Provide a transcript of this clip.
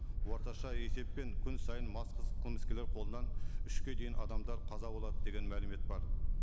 орташа есеппен күн сайын мас қылмыскерлер қолынан үшке дейін адамдар қаза болады деген мәлімет бар